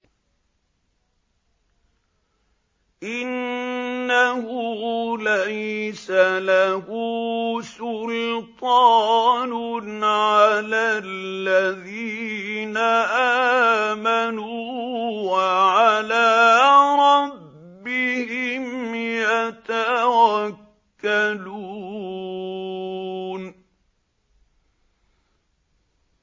إِنَّهُ لَيْسَ لَهُ سُلْطَانٌ عَلَى الَّذِينَ آمَنُوا وَعَلَىٰ رَبِّهِمْ يَتَوَكَّلُونَ